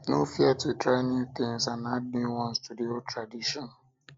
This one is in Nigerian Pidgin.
no fear to try new things and add new ones to the old tradition